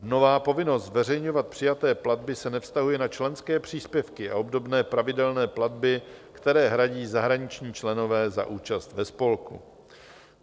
Nová povinnost zveřejňovat přijaté platby se nevztahuje na členské příspěvky a obdobné pravidelné platby, které hradí zahraniční členové za účast ve spolku.